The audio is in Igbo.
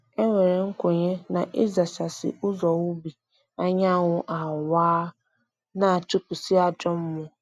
E nwere nkwenye na ịzachasị ụzọ ubi anyanwụ awaa, na-achụpụsị ajọ mmụọ